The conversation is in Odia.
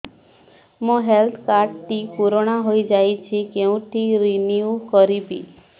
ମୋ ହେଲ୍ଥ କାର୍ଡ ଟି ପୁରୁଣା ହେଇଯାଇଛି କେଉଁଠି ରିନିଉ କରିବି